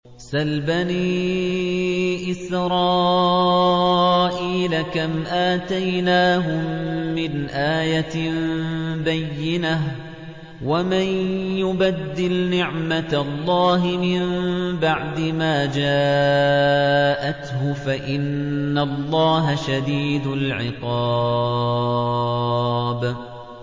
سَلْ بَنِي إِسْرَائِيلَ كَمْ آتَيْنَاهُم مِّنْ آيَةٍ بَيِّنَةٍ ۗ وَمَن يُبَدِّلْ نِعْمَةَ اللَّهِ مِن بَعْدِ مَا جَاءَتْهُ فَإِنَّ اللَّهَ شَدِيدُ الْعِقَابِ